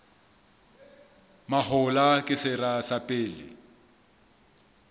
mahola ke sera sa pele